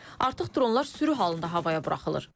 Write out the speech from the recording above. Artıq dronlar sürü halında havaya buraxılır.